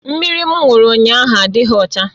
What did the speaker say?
Mmiri m ṅụrụ ụnyahụ adịghị ọcha